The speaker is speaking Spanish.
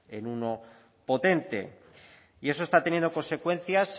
en uno potente y eso está teniendo consecuencias